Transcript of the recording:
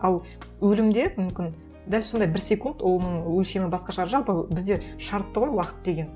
ал өлімде мүмкін дәл сондай бір секунд оның өлшемі басқа шығар жалпы бізде шартты ғой уақыт деген